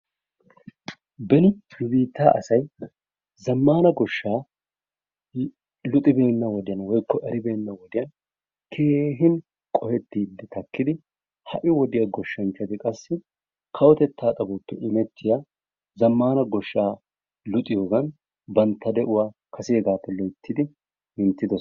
Beni wode nu biittaa asay zaammana goshshaa luxxibena wodiyaan woykko eribbena wodiyaan keehin qohettiidi taakkidi ha'i wodiyaa gooshshanchati qassi kawotettaa xaphoppe imettiyaa zammaana gooshshaa luxxiyoogan bantta de'uwaa kasegaappeloyttidi minttidoosona.